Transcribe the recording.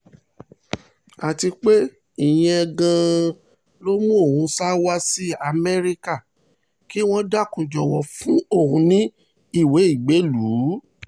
àti pé ìyẹn gan-an ló mú òun sá wá sí amẹ́ríkà kí wọ́n dákun jọ̀wọ́ fún òun ní ìwé ìgbélùú